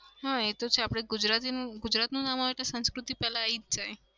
હા એતો છે આપડે ગુજરાતી ગુજરાતનું નામ આવે એટલે સંસ્કૃતિ પેલા આવી જ જાય.